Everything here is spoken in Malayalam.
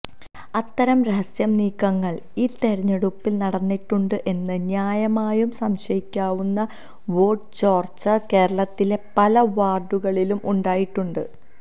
അത്തരം രഹസ്യ നീക്കങ്ങള് ഈ തെരഞ്ഞെടുപ്പില് നടന്നിട്ടുണ്ട് എന്ന് ന്യായമായും സംശയിക്കാവുന്ന വോട്ട് ചോര്ച്ച കേരളത്തിലെ പല വാര്ഡുകളിലും ഉണ്ടായിട്ടുണ്ട്